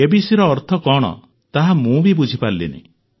ଏବିସିର ଅର୍ଥ କଣ ତାହା ମୁଁ ବି ବୁଝିପାରିଲିନି